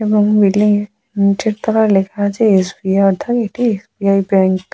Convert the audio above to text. এবং বিল্ডিং টির তলায় লেখা আছে এস.বি.আই. অর্থাৎ এটি এস.বি.আই. ব্যাঙ্ক ।